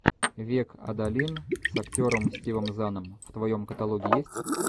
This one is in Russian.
век адалин с актером стивом заном в твоем каталоге есть